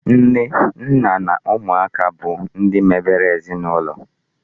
Nne, nna na ụmụaka bụ ihe mebere ezinụlọ.